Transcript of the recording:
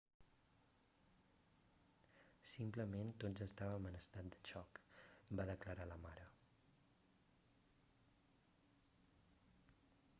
simplement tots estàvem en estat de xoc va declarar la mare